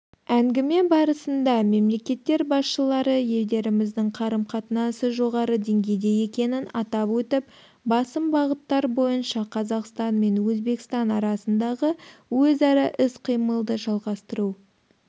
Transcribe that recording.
әңгіме барысында мемлекеттер басшылары елдеріміздің қарым-қатынасы жоғары деңгейде екенін атап өтіп басым бағыттар бойынша қазақстан мен өзбекстан арасындағы өзара іс-қимылды жалғастыру